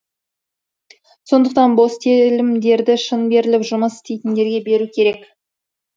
сондықтан бос телімдерді шын беріліп жұмыс істейтіндерге беру керек